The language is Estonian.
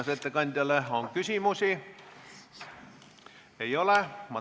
Kas ettekandjale on küsimusi?